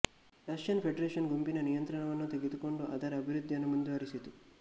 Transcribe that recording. Russian federation ಗುಂಪಿನ ನಿಯಂತ್ರಣವನ್ನು ತೆಗೆದುಕೊಂಡು ಅದರ ಅಭಿವೃದ್ಧಿಯನ್ನು ಮುಂದುವರಿಸಿತು